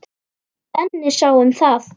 Benni sá um það.